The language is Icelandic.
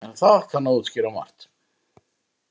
En það kann að útskýra margt.